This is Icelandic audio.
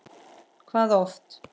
Hvað oft?